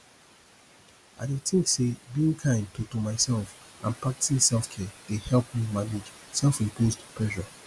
i dey think say being kind to to myself and practicing selfcare dey help me manage selfimposed pressure